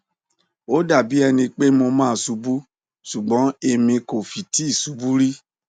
ó dà bí ẹni pé mo máa ṣubú ṣùgbọn èmi kò fi ti ṣubú rí